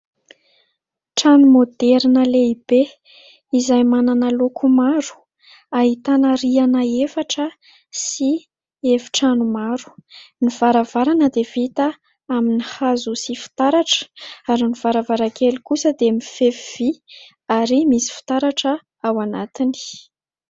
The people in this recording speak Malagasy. Trano moderina lehibe izay manana loko maro, ahitana rihana efatra sy efitrano maro ; ny varavarana dia vita amin'ny hazo sy fitaratra ary ny varavarankely kosa dia mifefy vy ary misy fitaratra ao anatiny.